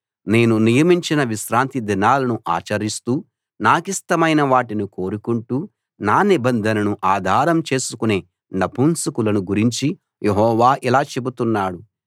నేను నియమించిన విశ్రాంతిదినాలను ఆచరిస్తూ నాకిష్టమైన వాటిని కోరుకుంటూ నా నిబంధనను ఆధారం చేసుకునే నపుంసకులను గురించి యెహోవా ఇలా చెబుతున్నాడు